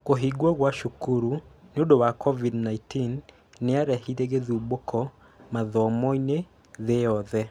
kũhingwo gwa cukuru nïũndũ wa covid 19, nĩya rehire gĩthumbũko mathomoinĩ thĩĩ yothe